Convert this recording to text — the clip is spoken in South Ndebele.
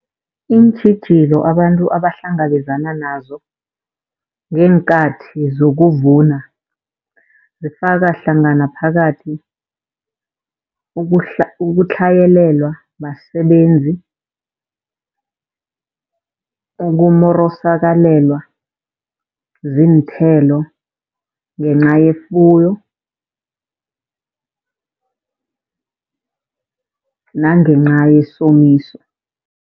Iintjhijilo abantu abahlangabezana nazo ngeenkathi zokuvuna zifaka hlangana phakathi ukutlhayelelwa basebenzi. Ukumorosakalelwa ziinthelo ngenca yefuyo nangenca yesomiso.